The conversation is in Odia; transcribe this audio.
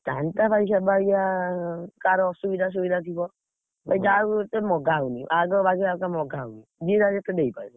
ଚାନ୍ଦା ଭାଇ ସେବାଗିଆ, କାହାର ଅସୁବିଧା ସୁବିଧା ଥିବ। ଏତେ ମଗା ହଉନି ଆଗ ବାଗିଆ ଏତେ ମଗା ହଉନି, ଯିଏ ଯାହା ଯେତେ ଦେଇପାରିବ।